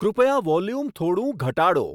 કૃપયા વોલ્યુમ થોડું ઘટાડો